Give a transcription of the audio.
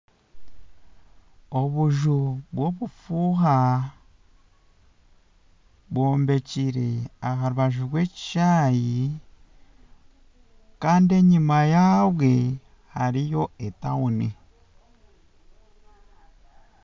Obuju bw'obufuuha bwombekire aharubaju rw'ekishaaayi Kandi enyuma yabwe hariyo etauni